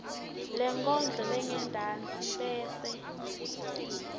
lenkondlo lengentasi bese